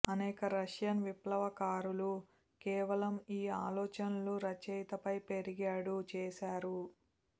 అనేక రష్యన్ విప్లవకారులు కేవలం ఈ ఆలోచనలు రచయిత పై పెరిగాడు చేశారు